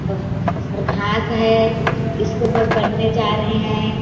ओह और घाँस है स्कूल में पढ़ने जा रहे है।